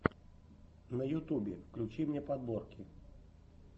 на ютубе включи мне подборки